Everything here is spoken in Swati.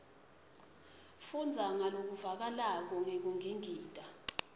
fundza ngalokuvakalako ngekungingita